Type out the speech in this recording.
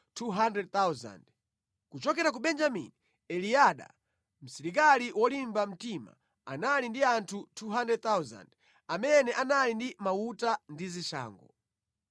Kuchokera ku Benjamini: Eliada, msilikali wolimba mtima, anali ndi anthu 200,000 amene anali ndi mauta ndi zishango;